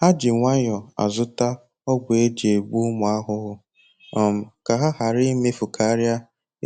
Ha ji nwayọ azụta ọgwụ eji egbu ụmụ ahụhụ um ka ha ghara imefukaria